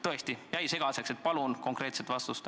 Tõesti jäi segaseks, nii et palun konkreetset vastust.